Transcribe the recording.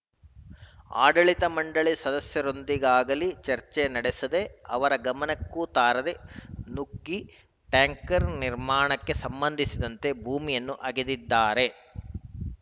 ಆಡಳಿತ ಮಂಡಳಿ ಸದಸ್ಯರೊಂದಿಗಾಗಲೀ ಚರ್ಚೆ ನಡೆಸದೇ ಅವರ ಗಮನಕ್ಕೂ ತಾರದೇ ನುಗ್ಗಿ ಟ್ಯಾಂಕ್‌ರ್ ನಿರ್ಮಾಣಕ್ಕೆ ಸಂಬಂಧಿಸಿದಂತೆ ಭೂಮಿಯನ್ನು ಅಗೆದಿದ್ದಾರೆ